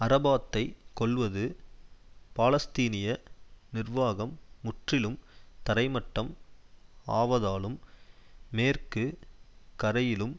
அரபாத்தைக் கொல்வது பாலஸ்தீனிய நிர்வாகம் முற்றிலும் தரைமட்டம் ஆவதாலும் மேற்கு கரையிலும்